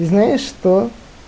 знаешь что